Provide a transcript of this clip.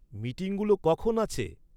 মিটিংগুলো কখন আছে?